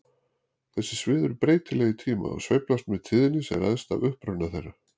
Þessi svið eru breytileg í tíma og sveiflast með tíðni sem ræðst af uppruna þeirra.